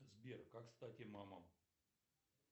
сбер как стать имамом